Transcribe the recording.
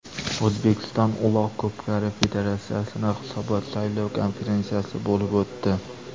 O‘zbekiston Uloq ko‘pkari federatsiyasining hisobot-saylov konferensiyasi bo‘lib o‘tdi.